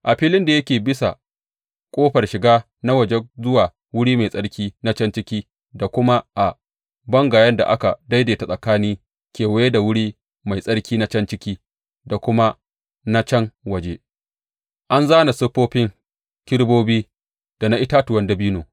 A filin da yake bisan ƙofar shiga na waje zuwa wuri mai tsarki na can ciki da kuma a bangayen da aka daidaita tsakani kewaye da wuri mai tsarki na can ciki da kuma na can waje an zāna siffofin kerubobi da na itatuwan dabino.